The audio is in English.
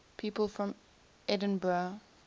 people from edinburgh